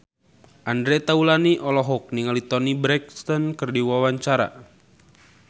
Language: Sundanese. Andre Taulany olohok ningali Toni Brexton keur diwawancara